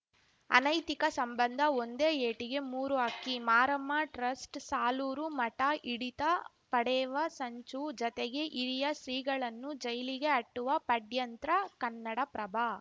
ಅನೈತಿಕ ಸಂಬಂಧ ಒಂದೇ ಏಟಿಗೆ ಮೂರು ಹಕ್ಕಿ ಮಾರಮ್ಮ ಟ್ರಸ್ಟ್‌ ಸಾಲೂರು ಮಠ ಹಿಡಿತ ಪಡೆವ ಸಂಚು ಜತೆಗೆ ಹಿರಿಯ ಶ್ರೀಗಳನ್ನು ಜೈಲಿಗೆ ಅಟ್ಟುವ ಪಡ್ಯಂತ್ರ ಕನ್ನಡಪ್ರಭ